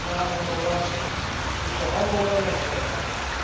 Ik denk dan met name aan de relatie tussen handel en mensenrechten.